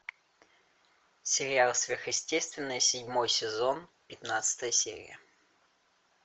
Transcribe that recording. сериал сверхъестественное седьмой сезон пятнадцатая серия